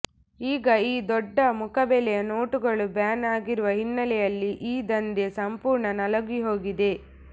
ಈಗ ಈ ದೊಡ್ಡ ಮುಖಬೆಲೆಯ ನೋಟುಗಳು ಬ್ಯಾನ್ ಆಗಿರುವ ಹಿನ್ನಲೆಯಲ್ಲಿ ಈ ದಂಧೆ ಸಂಪೂರ್ಣ ನಲುಗಿಹೋಗಿದೆ